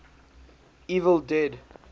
evil dead